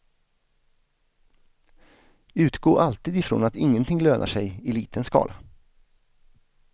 Utgå alltid från att ingenting lönar sig i liten skala.